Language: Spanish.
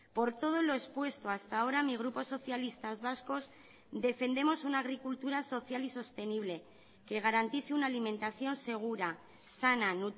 por todo lo expuesto hasta ahora mi grupo socialistas vascos defendemos una agricultura social y sostenible que garantice una alimentación segura sana